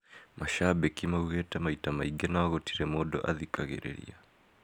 Mashambiki maugite maita maingi no gũtire mũndũ athikagĩrĩria